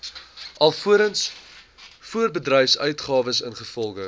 alvorens voorbedryfsuitgawes ingevolge